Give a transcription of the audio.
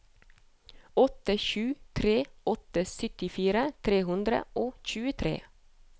åtte sju tre åtte syttifire tre hundre og tjuetre